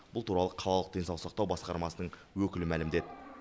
бұл туралы қалалық денсаулық сақтау басқармасының өкілі мәлімдеді